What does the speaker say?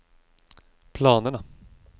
planerna